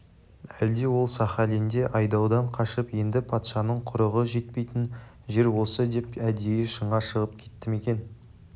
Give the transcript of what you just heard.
әлде ол сахалинде айдаудан қашып енді патшаның құрығы жетпейтін жер осы деп әдейі шыңға шығып кетті ме екен